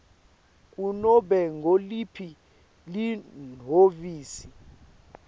kunobe nguliphi lihhovisi